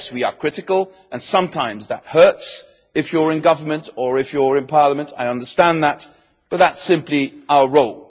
Yes, we are critical and sometimes that hurts if you are in government or in parliament. I understand that, but that is simply our role.